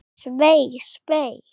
Svei, svei.